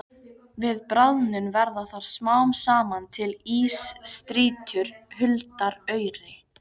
Við bráðnun verða þar smám saman til ísstrýtur huldar auri.